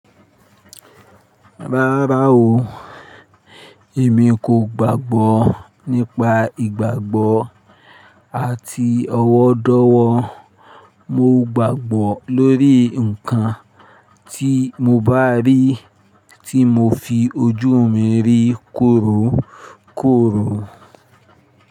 Rárá o, èmi kò gbàgbọ́ nípa ìgbàgbọ́ àti ọwọ́ dọ̀wọ́. Mo gbàgbọ́ lórí ǹkan tí mo bá rí, tí mo fi ojú mi rí kórókóró.